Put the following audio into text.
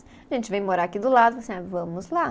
A gente veio morar aqui do lado, ah vamos lá.